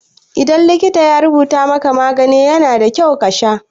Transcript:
Idan likita ya rubuta maka magani, yana da kyau kasha.